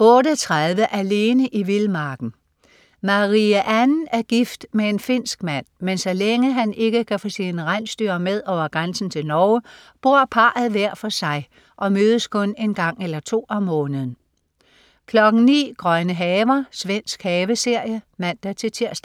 08.30 Alene i vildmarken. Marie Anne er gift med en finsk mand, men så længe han ikke kan få sine rensdyr med over grænsen til Norge, bor parret hver for sig og mødes kun en gang eller to om måneden 09.00 Grønne haver. Svensk haveserie (man-tirs)